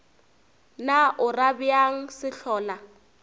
na o ra bjang sehlola